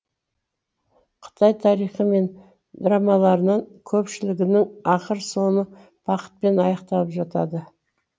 қытай тарихы мен драмаларының көпшілігінің ақыр соңы бақытпен аяқталып жатады